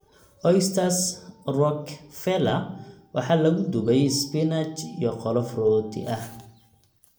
Oysters Rockefeller waxa lagu dubay isbinaaj iyo qolof rooti ah.